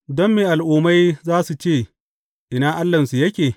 Don me al’ummai za su ce, Ina Allahnsu yake?